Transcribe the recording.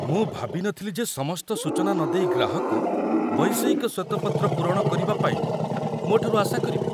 ମୁଁ ଭାବିନଥିଲି ଯେ ସମସ୍ତ ସୂଚନା ନଦେଇ ଗ୍ରାହକ ବୈଷୟିକ ଶ୍ୱେତପତ୍ର ପୂରଣ କରିବାପାଇଁ ମୋଠାରୁ ଆଶା କରିବେ।